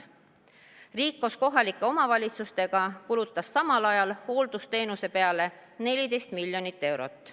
Riik koos kohalike omavalitsustega kulutas samal ajal hooldusteenuse peale 14 miljonit eurot.